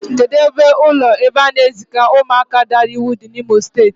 Kedụ ebe ụlọ ebe a na-eziga ụmụaka daara iwu dị n'Imo Steeti?